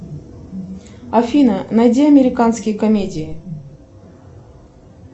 афина найди американские комедии